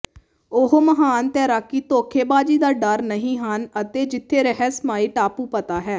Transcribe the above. ਉਹ ਮਹਾਨ ਤੈਰਾਕੀ ਧੋਖੇਬਾਜ਼ੀ ਦਾ ਡਰ ਨਹੀ ਹਨ ਅਤੇ ਜਿੱਥੇ ਰਹੱਸਮਈ ਟਾਪੂ ਪਤਾ ਹੈ